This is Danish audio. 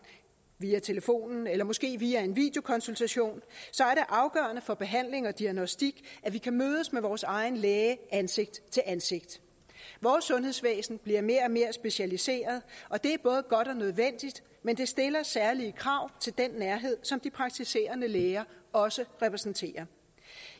via telefonen eller måske via en videokonsultation så er det afgørende for behandling og diagnostik at vi kan mødes med vores egen læge ansigt til ansigt vores sundhedsvæsen bliver mere og mere specialiseret og det er både godt og nødvendigt men det stiller særlige krav til den nærhed som de praktiserende læger også repræsenterer